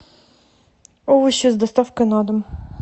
овощи с доставкой на дом